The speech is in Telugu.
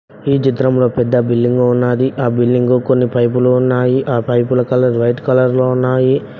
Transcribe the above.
ఈ చిత్రంలో పెద్ద బిల్డింగ్ ఉన్నాది ఆ బిల్డింగ్గు కొన్ని పైపులు ఉన్నాయి ఆ పైపుల కలర్ వైట్ కలర్ లో ఉన్నాయి